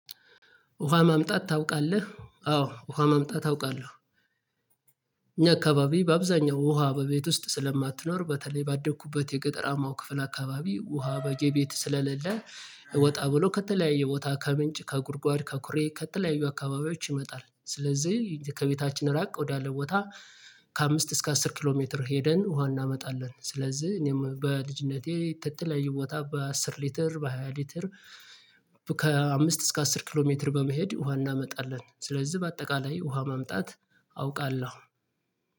ውሃ ማምጣት ታውቃለህ? አዎ ውሃ ማምጣት አውቃለው። እኛ አካባቢ በአብዛኛው ውሃ በቤት ውስጥ ስለማትኖር በተለይ ባደግኩበት የገጠራማው ክፍል አካባቢ ውሃ በኔ ቤት ስለሌለ። ወጣ ብሎ ከተለያዩ ቦታ ከምንጭ ከጉድጓድ ከኩሬ ከተለያዩ አካባቢዎች ይመጣል ስለዚህ ከቤታችን ራቅ ወዳለ ቦታ። ከአምስት እስከ አስር ኪሎ ሜትር ሄደን ውሃ እናመጣለን ስለዚህ እኔም በልጅነቴ ከተለያዩ ቦታ በአሥር ሊትር በሃያ ሊትር። ከአምስት እስከ አሥር ኪሎ ሜትር በመሄድ ውሃ እናመጣለን። ስለዚህ በአጠቃላይ ውሃ ማምጣት አውቃለሁ